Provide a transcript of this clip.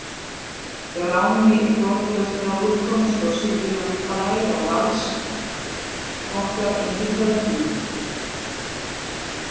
Grámi þrotlausrar úrkomu sló syfjulegum blæ á vasl okkar inní kvöldhúmið.